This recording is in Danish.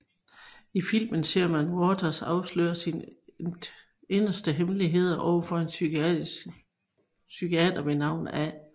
I filmen ser man Waters afsløre sine inderste hemmeligheder over for en psykiater ved navn A